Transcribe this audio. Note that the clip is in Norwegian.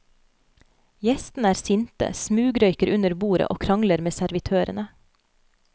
Gjestene er sinte, smugrøyker under bordet og krangler med servitørene.